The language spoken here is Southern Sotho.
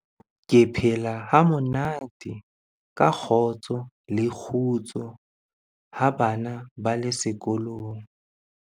Ke phela ha monate ka kgotso le kgutso ha bana ba le sekolong.